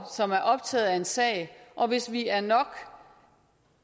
som er optaget af en sag og hvis vi er nok